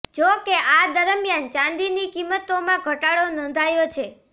જો કે આ દરમિયાન ચાંદીની કિંમતોમાં ઘટાડો નોંધાયો છે